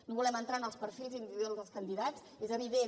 no volem entrar en els perfils individuals dels candidats és evident